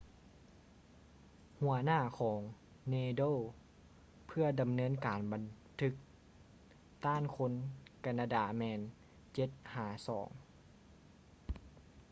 ຫົວໜ້າຂອງ nadal ເພື່ອດຳເນີນການບັນທຶກຕ້ານຄົນການາດາແມ່ນ 7-2